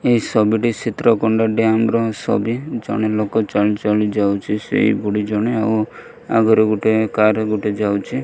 ଏହି ସବି ଟି ସିତ୍ରକୁଣ୍ଡ ଡ୍ୟାମ୍ ର ସବି ଜଣେ ଲୋକ ଚଲି ଚଲି ଯାଉଚି ସେଇ ବୁଢ଼ି ଜଣେ ଆଉ ଆଗରୁ ଗୋଟେ କାର୍ ଗୋଟେ ଯାଉଚି ।